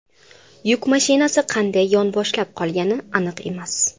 Yuk mashinasi qanday yonboshlab qolgani aniq emas.